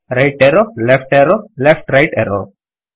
right arrow left arrow left right arrow